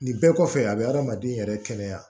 Nin bɛɛ kɔfɛ a bɛ adamaden yɛrɛ kɛnɛya